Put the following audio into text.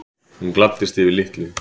Hún gladdist yfir litlu.